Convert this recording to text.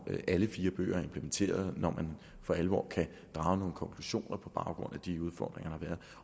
alle fire bøger er implementeret når man for alvor kan drage nogle konklusioner på baggrund af de udfordringer der